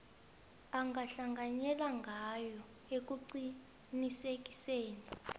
angahlanganyela ngayo ekuqinisekiseni